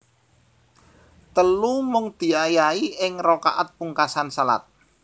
Telu Mung diayahi ing rakaat pungkasan shalat